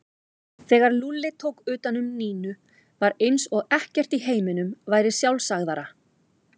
Þegar Lúlli tók utan um Nínu var eins og ekkert í heiminum væri sjálfsagðara.